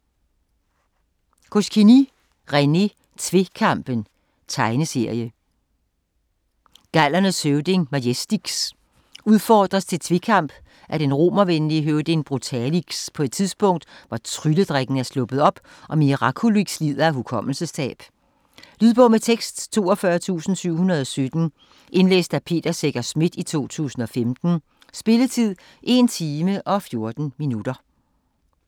Goscinny, René: Tvekampen Tegneserie. Gallernes høvding, Majestix, udfordres til tvekamp af den romervenlige høvding Brutalix på et tidspunkt, hvor trylledrikken er sluppet op, og Mirakulix lider af hukommelsestab. Lydbog med tekst 42717 Indlæst af Peter Secher Schmidt, 2015. Spilletid: 1 time, 14 minutter.